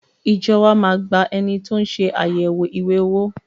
Ìjọ wa má a gba ẹni tó ń ṣe àyẹ̀wò ìwé owó.